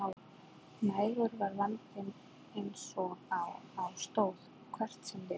Nægur var vandinn eins og á stóð, hvert sem litið var.